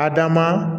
Adama